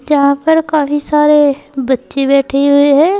यहां पर काफी सारे बच्चे बैठे हुए है।